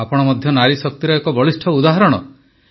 ଆପଣ ମଧ୍ୟ ନାରୀ ଶକ୍ତିର ଏକ ବଳିଷ୍ଠ ଉଦାହରଣ